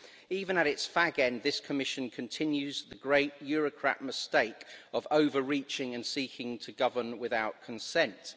Even at its fag end, this Commission continues the great eurocrat mistake of overreaching and seeking to govern without consent.